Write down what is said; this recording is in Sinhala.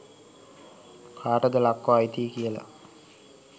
කාටද ලක්ව අයිති කියලා.